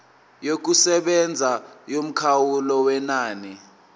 yokusebenza yomkhawulo wenani